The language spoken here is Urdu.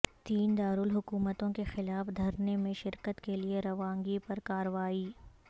تین دارالحکومتوں کے خلاف دھرنے میں شرکت کیلئے روانگی پر کارروائی